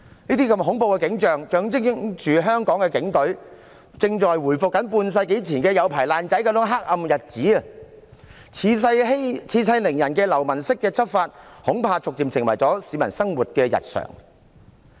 這些恐怖的景象象徵香港警隊正在回復半世紀前那種"有牌爛仔"的黑暗日子，恃勢凌人的流氓式執法，恐怕逐漸成為市民生活日常遇到的事。